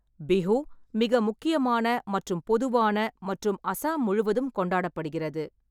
பிஹு மிக முக்கியமான மற்றும் பொதுவான மற்றும் அசாம் முழுவதும் கொண்டாடப்படுகிறது.